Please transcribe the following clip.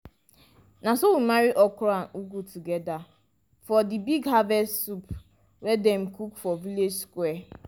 na so we marry okro and ugu together for di big harvest soup wey dem cook for village square